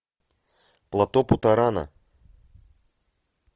плато путорана